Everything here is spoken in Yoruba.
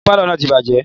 Iná pálọ̀ náà ti bàjẹ́